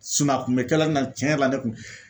a kun bɛ kɛla n na, tiɲɛ yɛrɛ la ne kun